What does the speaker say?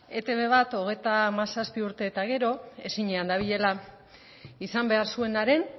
etb bat hogeita hamazazpi urte eta gero ezinean dabilela izan behar zuenaren